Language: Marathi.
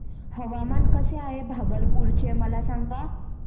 हवामान कसे आहे भागलपुर चे मला सांगा